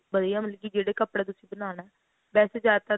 ਵਧੀਆ ਮਤਲਬ ਕੀ ਜਿਹੜੇ ਕੱਪੜੇ ਦਾ ਤੁਸੀਂ ਬਣਾਉਣਾ ਵੈਸੇ ਜ਼ਿਆਦਾਤਰ